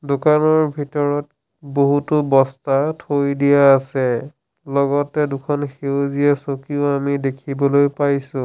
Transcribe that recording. দোকানৰ ভিতৰত বহুতো বস্তা থৈ দিয়া আছে লগতে দুখন সেউজীয়া চকীও আমি দেখিবলৈ পাইছোঁ।